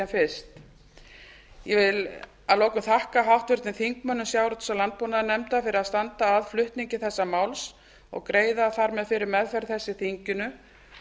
fyrst ég vil að lokum kunna háttvirtum þingmönnum sjávarútvegs og landbúnaðarnefndar fyrir að standa að flutningi þessa máls og greiða þar með fyrir meðferð þess í þinginu